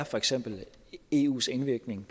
for eksempel eus indvirkning